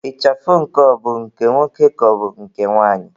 Ịchafụ nke ọ bụ nke nwoke ka ọ bụ nke nwanyị?